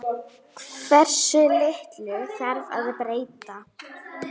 Við látum kyrrt liggja